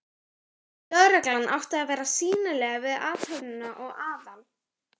Lögreglan átti að vera sýnileg við athöfnina og Aðal